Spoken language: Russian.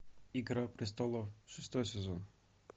игра престолов шестой сезон